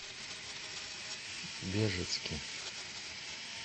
бежецке